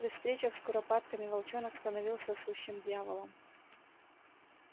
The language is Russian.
при встречах с куропатками волчонок становился сущим дьяволом